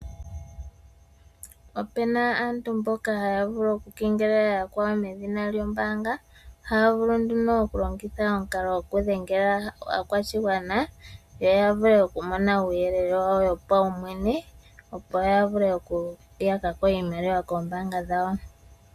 Opu na aantu mboka haya vulu okukengelela yakwawo medhina lyombaanga. Haya vulu okulongitha omukalo gokudhengela aakwashigwana yo ya vule okumona uuyelele wawo wopaumwene, opo ya vule okuyaka ko iimaliwa koombaanga dhawo.